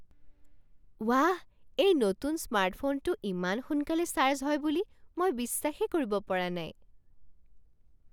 ৱাহ, এই নতুন স্মাৰ্টফোনটো ইমান সোনকালে চাৰ্জ হয় বুলি মই বিশ্বাসেই কৰিব পৰা নাই!